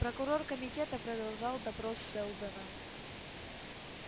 прокурор комитета продолжал допрос сэлдона